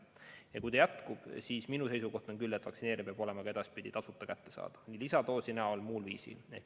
Ja kui see jätkub, siis minu seisukoht on küll, et vaktsineerimine peab olema ka edaspidi tasuta kättesaadav, ka lisadoos.